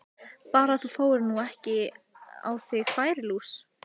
Bara að þú fáir nú ekki á þig færilús!